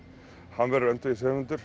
hann verður